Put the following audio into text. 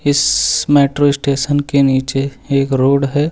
इस metro station के नीचे एक रोड है।